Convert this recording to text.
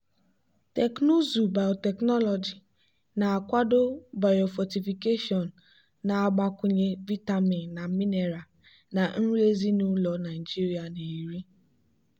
teknụzụ biotechnology na-akwado biofortification na-agbakwunye vitamin na mineral na nri ezinụlọ nigeria na-eri.